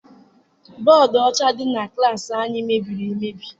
Bọdu ọcha dị na klassi anyị mebiri emebi.